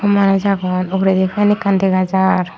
manus agon ugredi fan ekkan dega jar.